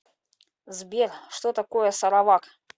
сбер что такое саравак